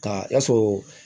Ka sɔrɔ